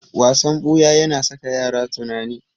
Wasan ɓuya yana saka yara tunani.